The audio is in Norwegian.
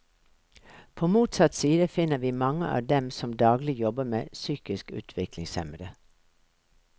På motsatt side finner vi mange av dem som daglig jobber med psykisk utviklingshemmede.